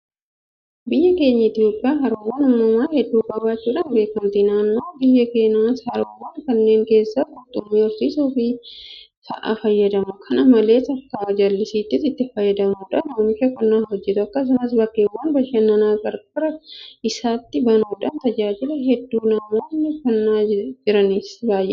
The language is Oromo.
Biyyi keenya Itoophiyaan haroowwan uumamaa hedduu qabaachuudhaan beekamti. Namoonni biyya kanaas Haroowwan kanneen keessatti qurxummii horsiisuu fa'aa fayyadamu. Kana malees akka jallisiitti itti fayyadamuudhaan oomisha qonnaa hojjetu. Akkasumas bakkeewwan bashannanaa qarqara isaatti banuudhaan tajaajila hedduu namoonni kennaa jitanis baay'eedha.